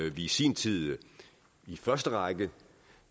i sin tid i første række